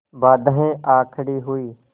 बाधाऍं आ खड़ी हुई